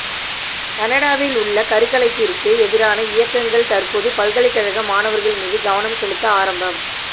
கனடாவிலுள்ள கருக்கலைப்பிற்கு எதிரான இயக்கங்கள் தற்போது பல்கலைக்கழக மாணவர்கள் மீது கவனம் செலுத்த ஆரம்